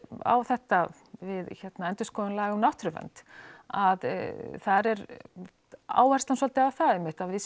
á þetta við endurskoðun laga um náttúruvernd að þar er áherslan svolítið á það einmitt að við